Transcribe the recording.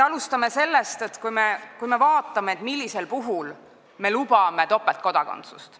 Alustame sellest, et vaatame, millisel puhul me lubame topeltkodakondsust.